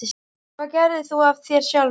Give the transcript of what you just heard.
Hvað gerðir þú af þér sjálfur?